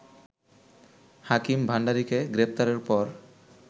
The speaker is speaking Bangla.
হাকিম ভাণ্ডারিকে গ্রেপ্তারের পর